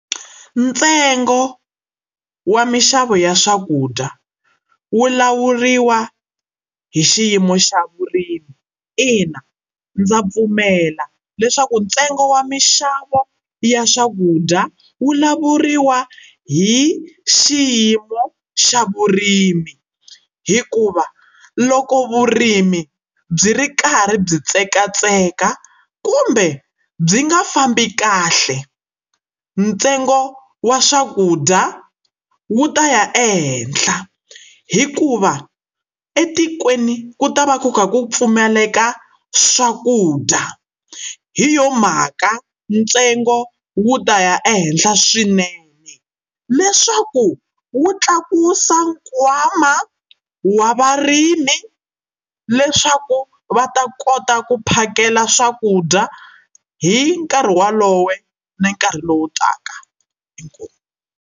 Ntsengo wa minxavo ya swakudya wu lawuriwa hi xiyimo xa vurimi. Ina, ndza pfumela leswaku ntsengo wa minxavo ya swakudya wulawuriwa hi xiyimo xa vurimi hikuva loko vurimi byi ri karhi byi tsekatseka kumbe byi nga fambi kahle ntsengo wa swakudya wu ta ya ehenhla hikuva etikweni ku ta va ku ka ku pfumaleka swakudya hi yona mhaka ntsengo wu ta ya ehenhla swinene leswaku wu tlakusa nkwama wa varimi leswaku va ta kota ku phakela swakudya hi nkarhi walowo ni nkarhi lowu taka. Inkomu.